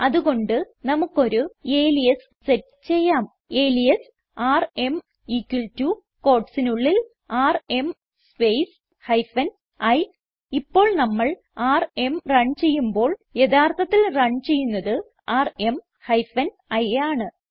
അത് കൊണ്ട് നമുക്കൊരു അലിയാസ് സെറ്റ് ചെയ്യാം അലിയാസ് ആർഎം equal ടോ quotesനുള്ളിൽ ആർഎം സ്പേസ് ഹൈഫൻ i ഇപ്പോൾ നമ്മൾ ആർഎം റൺ ചെയ്യുമ്പോൾ യഥാർത്ഥത്തിൽ റൺ ചെയ്യുന്നത് ആർഎം ഹൈഫൻ i ആണ്